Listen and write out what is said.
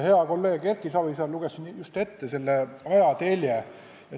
Hea kolleeg Erki Savisaar luges siin just ette selle ajatelje.